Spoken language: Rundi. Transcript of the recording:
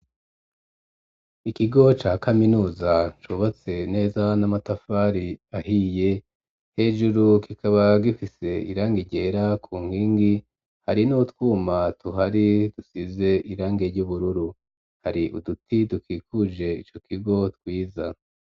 Ikigo ca kaminuza, cubatse neza n'amatafari ahiye, hejuru kikaba gifise irangi ryera ku nkingi, hari n'utwuma tuhari dusize irangi ry'ubururu, hari uduti dukikuje ico kigo twiza.